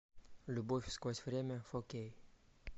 любовь сквозь время фо кей